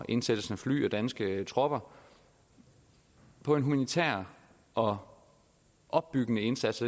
indsættelsen af fly og danske tropper på en humanitær og opbyggende indsats